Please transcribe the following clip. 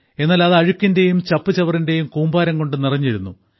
എന്നാൽ അത് അഴുക്കിന്റെയും ചപ്പുചവറിന്റെയും കൂമ്പാരം കൊണ്ട് നിറഞ്ഞിരുന്നു